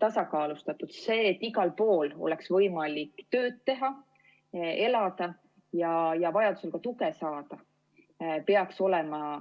tasakaalustatus, see, et igal pool oleks võimalik tööd teha, elada ja vajadusel ka tuge saada, peaks olema ...